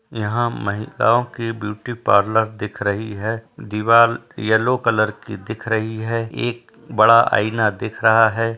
यहाँ महिलाओं की ब्यूटी पार्लर दिख रही है। दीवाल येलो कलर की दिख रही है। एक बड़ा आइना दिख रहा है।